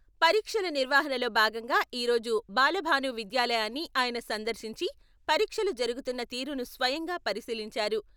పరీక్షల నిర్వహణలో భాగంగా ఈ రోజు బాలభాను విద్యాలయాన్ని ఆయన సందర్శించి పరీక్షలు జరుగుతున్న తీరును స్వయంగా పరిశీలించారు.